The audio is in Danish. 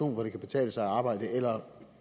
hvor det kan betale sig at arbejde eller